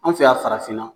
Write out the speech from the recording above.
An fɛ yan farafinna